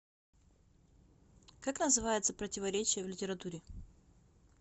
как называется противоречие в литературе